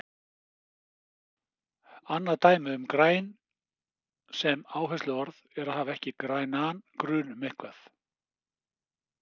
Annað dæmi um grænn sem áhersluorð er að hafa ekki grænan grun um eitthvað.